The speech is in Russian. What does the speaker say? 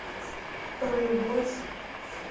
про любовь